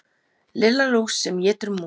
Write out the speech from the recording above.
Lilla lús sem étur mús.